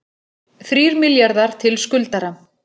Þrír milljarðar til skuldara